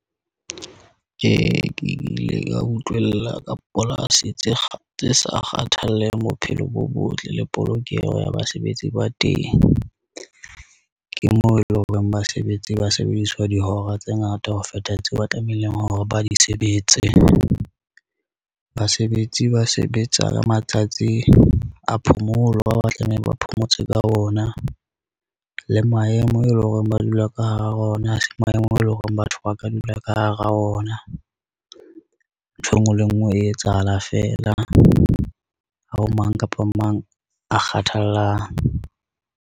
Ke ile ka utllwela ka polasi tse sa kgathalleng bophelo bo botle le polokeho ya basebetsi ba teng. Ke moo eleng horeng basebetsi ba sebediswa dihora tse ngata ho feta tseo ba tlamehileng hore ba di sebetse. Basebetsi ba sebetsa ka matsatsi a phomolo, ba o ba tlameha ba phomotse ka ona le maemo eleng hore ba dula ka hara ona ase maemo eleng hore batho ba ka dula ka hara ona. Ntho e ngwe le e ngwe e etsahala fela ha ho mang kapa mang a kgathallang.